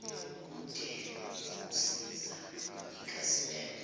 nobude bokusiza ikhasimende